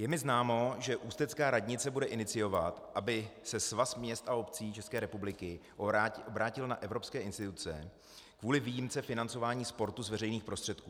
Je mi známo, že ústecká radnice bude iniciovat, aby se Svaz měst a obcí České republiky obrátil na evropské instituce kvůli výjimce financování sportu z veřejných prostředků.